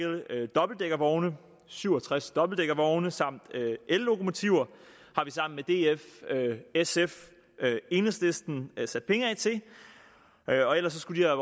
dobbeltdækkervogne syv og tres dobbeltdækkervogne samt ellokomotiver har vi sammen med df sf og enhedslisten sat penge af til og ellers skulle